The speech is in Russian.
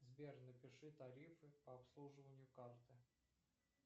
сбер напиши тарифы по обслуживанию карты